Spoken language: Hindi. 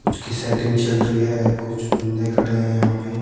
कुछ की सेटिंग चल रही है कुछ बंदे खड़े हैं यहां पे।